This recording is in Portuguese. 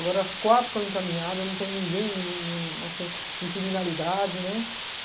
Agora as quatro estão encaminhadas, não tem ninguém ninguém ninguém assim, em criminalidade, né?